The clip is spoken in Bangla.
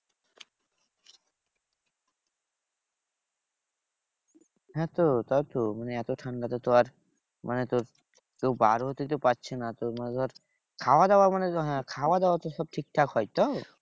হ্যাঁ তো তাই তো মানে এত ঠান্ডাতে তো আর মানে তোর কেউ বার হতে তো পারছে না। তোর মানে ধর খাওয়াদাওয়া মানে তো হ্যাঁ খাওয়াদাওয়া সব ঠিকঠাক হয় তো?